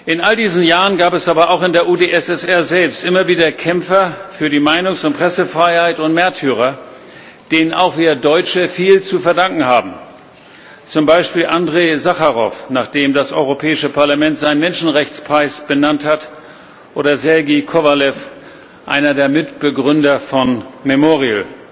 In all diesen Jahren gab es aber auch in der UdSSR selbst immer wieder Kämpfer für die Meinungs und Pressefreiheit und Märtyrer, denen auch wir Deutsche viel zu verdanken haben, zum Beispiel Andrej Sacharow, nach dem das Europäische Parlament seinen Menschenrechtspreis benannt hat, oder Sergej Kowaljow, einer der Mitbegründer von Memorial.